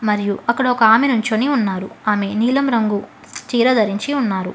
మరియు అక్కడ ఒక ఆమె నుంచొని ఉన్నారు ఆమె నీలం రంగు చీర ధరించి ఉన్నారు.